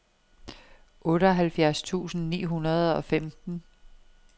otteoghalvfjerds tusind ni hundrede og femten